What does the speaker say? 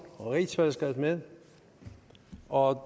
og i rigsfællesskab med og